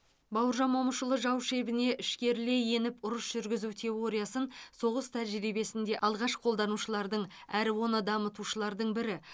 бауыржан момышұлы жау шебіне ішкерілей еніп ұрыс жүргізу теориясын соғыс тәжірибесінде алғаш қолданушылардың әрі оны дамытушылардың бірі